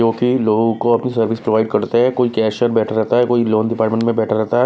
जो कि लोगों को अपनी सर्विस प्रोवाइड करते हैं कोई कैशयर बेठा रहता है कोई लोन डिपार्टमेंट में बेठा रहता है।